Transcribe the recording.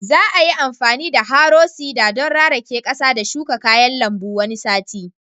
Za a yi amfani da harrow seeder don rarake ƙasa da shuka kayan lambu wani sati